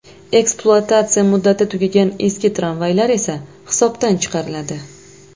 Ekspluatatsiya muddati tugagan eski tramvaylar esa hisobdan chiqariladi.